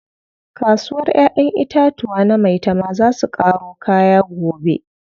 Kasuwar ƴaƴen itatuwa na maitama zaa su ƙaro kaya gobe.